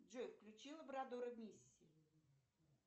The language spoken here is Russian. джой включи лабрадора мисси